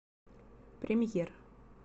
премьер